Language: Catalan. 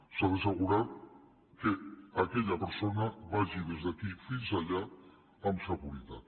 s’ha d’assegurar que aquella persona vagi des d’aquí fins allà amb seguretat